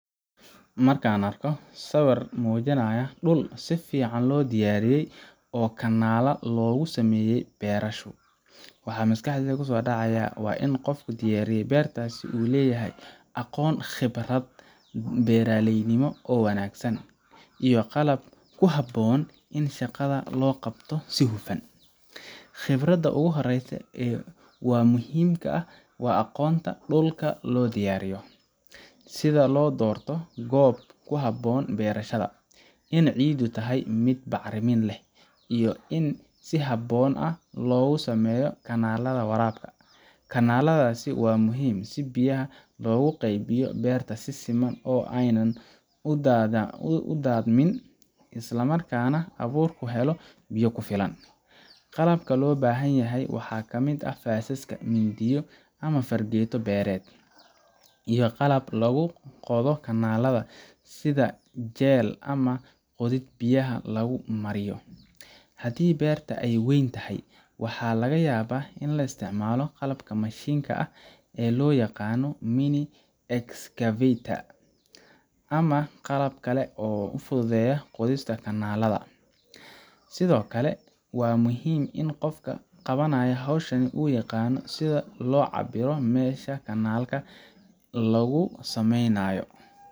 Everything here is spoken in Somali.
Marka aan arko sawir muujinaya dhul si fiican loo diyaariyey oo kanaal loogu sameeyey beerasho, waxa maskaxdayda ku soo dhacaya in qofka diyaariyey beertaas uu leeyahay aqoon iyo khibrad beeraleynimo oo wanaagsan, iyo qalab ku habboon si shaqada loo qabto si hufan. Khibradda ugu horreysa wa muhiimka ah waa aqoonta dhulka loo diyaariyo sida loo doorto goobta ku habboon beerashada, in ciiddu tahay mid bacrin leh, iyo in si habboon loogu sameeyo kanaalada waraabka. Kanaaladaasi waa muhiim si biyaha loogu qaybiyo beerta si siman oo aanay u daadamin, isla markaana abuurku helo biyo ku filan. Qalabka loo baahan yahay waxaa ka mid ah faasaska, mindiyo ama fargeeto beereed, iyo qalabka lagu qodo kanaalada sida jeel ama qodid biyaha lagu mariyo. Haddii beerta ay weyn tahay, waxaa laga yaabaa in la isticmaalo qalabka mashiinka ah ee loo yaqaan mini-excavator ama qalab kale oo fududeynaya qodista kanaalada. Sidoo kale, waa muhiim in qofka qabanaya hawshan uu yaqaan sida loo cabbiro meesha kanaalka lagu samaynayo.